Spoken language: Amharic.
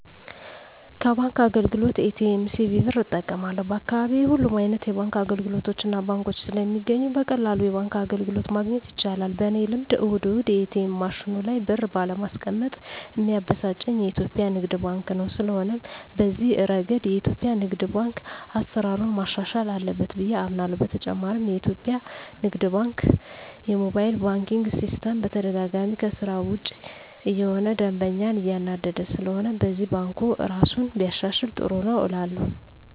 ከባንክ አገልግሎት ኤ.ቲ.ኤም፣ ሲቪ ብር እጠቀማለሁ፣ በአካባቢየ ሁሉም አይነት የባንክ አገልግሎቶችና ባንኮች ስለሚገኙ በቀላሉ የባንክ አገልግሎት ማግኘት ይቻላል። በኔ ልምድ እሁድ እሁድ የኤትኤም ማሽኑ ላይ ብር ባለማስቀመጥ ሚያበሳጨኝ የኢትዮጲያ ንግድ ባንክ ነው። ስለሆነም በዚህ እረገድ የኢትዮጲያ ንግድ ባንክ አሰራሩን ማሻሻል አለበት ብየ አምናለሆ። በተጨማሪም የኢትዮጲያ ንግድ ባንክ የሞባይል ባንኪን ሲስተም በተደጋጋሚ ከስራ ውጭ እየሆነ ደንበኛን እያናደደ ስለሆነም በዚህም ባንኩ እራሱን ቢያሻሽል ጥሩ ነው እላለሁ።